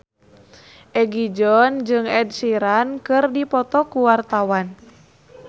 Egi John jeung Ed Sheeran keur dipoto ku wartawan